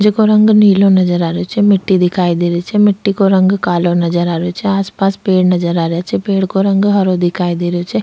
जेको रंग नीलो नजर आ रेहो छे मिट्टी दिखाई दे रही छे मिट्टी को रंग कालो नजर आ रेहो छे आस पास पेड़ नजर आ रेहा छे पेड़ को रंग हरो दिखाई दे रेहो छे।